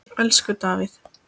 Elsku Davíð.